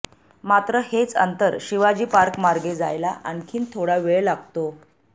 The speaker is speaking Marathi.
मात्र हेच अंतर शिवाजी पार्क मार्गे जायला आणखी थोडा वेळ लागतो